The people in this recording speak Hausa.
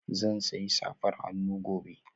Zan sayi safar hannu gobe